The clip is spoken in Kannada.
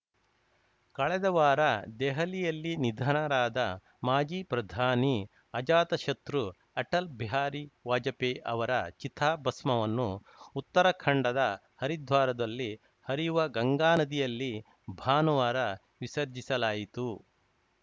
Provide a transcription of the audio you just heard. ಕಳೆದ ವಾರ ದೆಹಲಿಯಲ್ಲಿ ನಿಧನರಾದ ಮಾಜಿ ಪ್ರಧಾನಿ ಅಜಾತ ಶತ್ರು ಅಟಲ್‌ ಬಿಹಾರಿ ವಾಜಪೇಯಿ ಅವರ ಚಿತಾಭಸ್ಮವನ್ನು ಉತ್ತರಾಖಂಡದ ಹರಿದ್ವಾರದಲ್ಲಿ ಹರಿಯುವ ಗಂಗಾನದಿಯಲ್ಲಿ ಭಾನುವಾರ ವಿಸರ್ಜಿಸಲಾಯಿತು